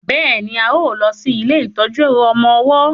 béèni a má lo sí ilé ìtọjú ọmọ ọwó